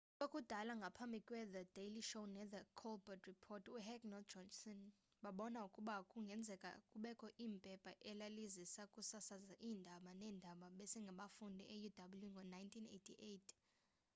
kwakudala ngaphambi kwethe daily show nethe colbert report uheck nojohnson babona ukuba kungenzeka kubekho iphepha elaliza kusasaza iindaba-neendaba-besengabafundi euw ngo-1988